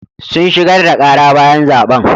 Sun shigar da ƙara bayan zaɓen.